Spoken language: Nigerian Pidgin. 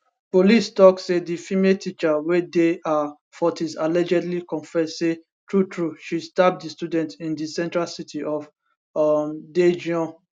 police tok say di female teacher wey dey her 40s allegedly confess say truetrue she stab di student in di central city of um daejeon